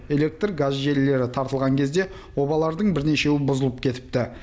электр газ желілері тартылған кезде обалардың бірнешеуі бұзылып кетіпті